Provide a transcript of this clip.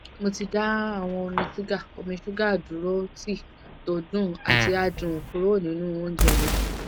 mo ti dá awon omi sugar omi sugar duro tea to dun ati adun kuro ninu ounje mi